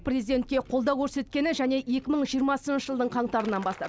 президентке қолдау көрсеткені және екі мың жиырмасыншы жылдың қаңтарынан бастап